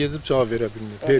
Zəng edib cavab verə bilməyib.